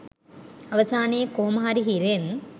අවසානයේ කොහොම හරි හිරෙන්